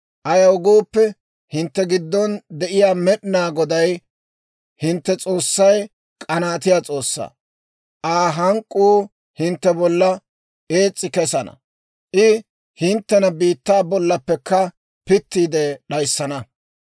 Ayaw gooppe, hintte giddon de'iyaa Med'inaa Goday hintte S'oossay k'anaatiyaa S'oossaa; Aa hank'k'uu hintte bollan ees's'i kesana; I hinttena biittaa bollaappekka pittiide d'ayissana.